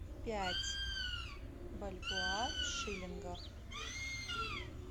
пять бальбоа в шиллингах